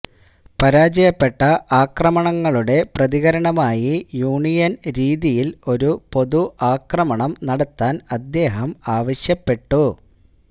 പരാജയപ്പെട്ട ആക്രമണങ്ങളുടെ പ്രതികരണമായി യൂണിയൻ രീതിയിൽ ഒരു പൊതു ആക്രമണം നടത്താൻ അദ്ദേഹം ആവശ്യപ്പെട്ടു